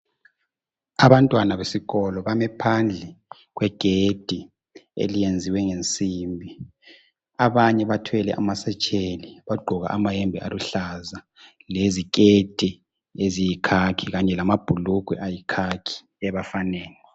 Abantwana besikolo bame phandle kwegedi eliyenziwe ngensimbi. Abanye bathwele amasetsheli, bagqoke amayembe aluhlaza leziketi eziyikhakhi, kanye lamabhulugwe ayikhakhi ebafaneni.